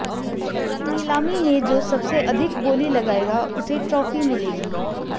इस नीलामी में जो सबसे अधिक बोली लगाएगा उसे ट्रॉफी मिलेगी